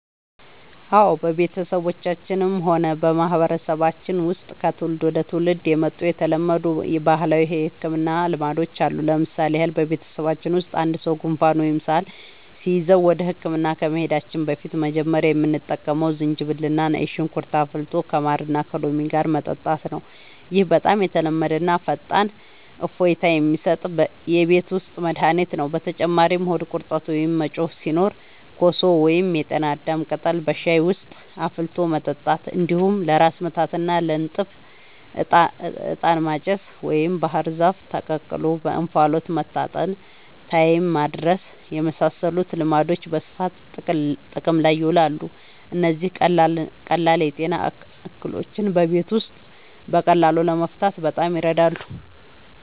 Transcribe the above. አዎ፣ በቤተሰባችንም ሆነ በማህበረሰባችን ውስጥ ከትውልድ ወደ ትውልድ የመጡ የተለመዱ ባህላዊ የሕክምና ልማዶች አሉ። ለምሳሌ ያህል፣ በቤተሰባችን ውስጥ አንድ ሰው ጉንፋን ወይም ሳል ሲይዘው ወደ ሕክምና ከመሄዳችን በፊት መጀመሪያ የምንጠቀመው ዝንጅብልና ነጭ ሽንኩርት አፍልቶ ከማርና ከሎሚ ጋር መጠጣት ነው። ይህ በጣም የተለመደና ፈጣን እፎይታ የሚሰጥ የቤት ውስጥ መድኃኒት ነው። በተጨማሪም ሆድ ቁርጠት ወይም መጮህ ሲኖር ኮሶ ወይም የጤና አዳም ቅጠል በሻይ ውስጥ አፍልቶ መጠጣት፣ እንዲሁም ለራስ ምታትና ለንፍጥ «ዕጣን ማጨስ» ወይም ባህር ዛፍ ተቀቅሎ በእንፋሎት መታጠንን (ታይም ማድረስ) የመሳሰሉ ልማዶች በስፋት ጥቅም ላይ ይውላሉ። እነዚህ ቀላል የጤና እክሎችን በቤት ውስጥ በቀላሉ ለመፍታት በጣም ይረዳሉ።